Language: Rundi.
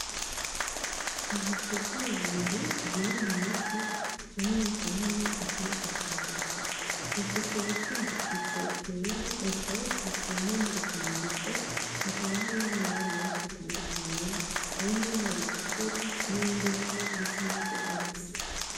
Ubucupa bubiri burimwo umuti kamwe ni kanini akandi kakaba gato bufise ubupfundikizo bwera bukaba bufise n'ibindi vyandiko hakaba harimwo amabara menshi atandukanye harimwo ibara ritukura n'irindi bara risa nki ry,urwatsi .